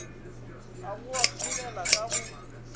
a go ahlolela ka go